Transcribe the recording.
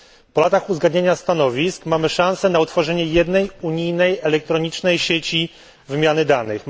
Po latach uzgadniania stanowisk mamy szansę na utworzenie jednej unijnej elektronicznej sieci wymiany danych.